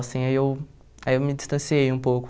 Assim aí eu aí eu me distanciei um pouco.